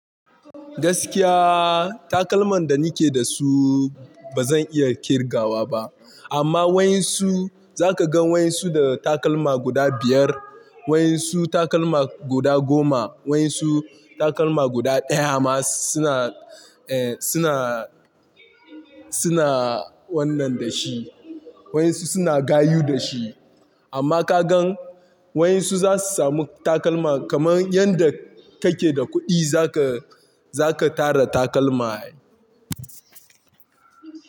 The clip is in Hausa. Gaskiya takalman da ni ke da su ba zan iya kirgawa ba amma waɗansu za ka gan waɗansu da takalma guda biyar, waɗansu takalma guda goma, waɗansu takalma guda ɗaya amma suna, eh suna, suna wannan da shi. Waɗansu suna gayu da shi amma ka gan waɗansu za su samu takalma kamar yanda ka ke da kuɗi za ka, za ka tara takalma.